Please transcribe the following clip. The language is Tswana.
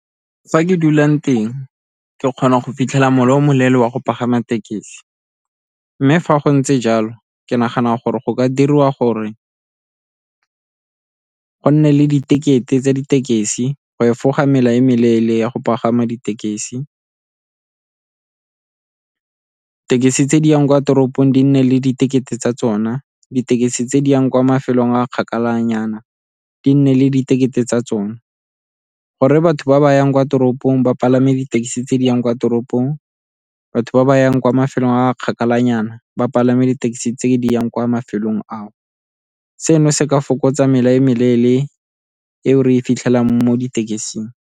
Fa ke dulang teng ke kgona go fitlhela mola o moleele wa go pagama tekesi, mme fa go ntse jalo ke nagana gore go ka diriwa gore go nne le di tekete tsa ditekesi go efoga mela e meleele ya go pagama ditekesi. Tekesi tse di yang kwa toropong di nne le diketekete tsa tsona, ditekesi tse di yang kwa mafelong a kgakala nyana di nne le diketekete tsa tsona, gore batho ba ba yang kwa toropong ba palame ditekesi tse di yang kwa toropong batho ba ba yang kwa mafelong a kgakala nyana ba palama di-taxi tse di yang kwa mafelong ao. Seno se ka fokotsa mela e meleele eo re e fitlhelelang mo ditekising.